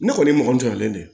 Ne kɔni mɔgɔ jɔlen don